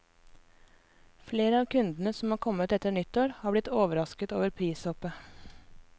Flere av kundene som har kommet etter nyttår, har blitt overrasket over prishoppet.